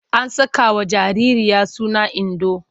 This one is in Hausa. An sakawa jaririya suna Indo.